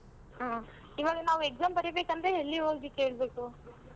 ಹ್ಮ್ ಇವಾಗ ನಾವು exam ಬರೀಬೇಕಂದ್ರೆ ಎಲ್ಲಿ ಹೋಗಿ ಕೇಳ್ಬೇಕು?